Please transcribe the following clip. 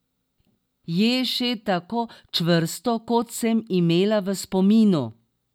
Je še tako čvrsto, kot sem imela v spominu?